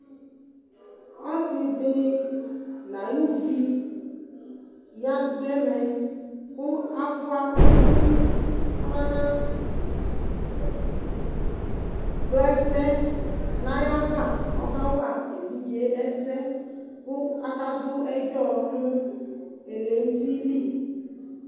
Ɔsidi nʋ ayuvi dʋ ɛmɛ kʋ afua ɛkʋ kabana kpla ɛsɛ nʋ ayʋ ava kʋ ɔkawa evidze ɛsɛ kʋ adʋ ɛdzɔ nʋ ɛlɛnʋtili